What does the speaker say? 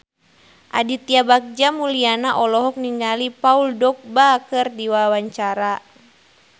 Aditya Bagja Mulyana olohok ningali Paul Dogba keur diwawancara